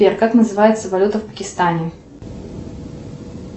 сбер как называется валюта в пакистане